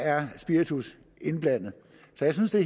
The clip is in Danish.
er spiritus indblandet så jeg synes at